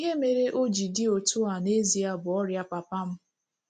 Ihe mere o ji dị otú a n'ezie bụ ọrịa papa m.